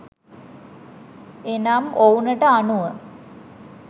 එනම් ඔවුනට අනුව